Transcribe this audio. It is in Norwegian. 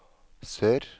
sør